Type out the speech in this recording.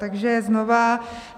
Takže znovu.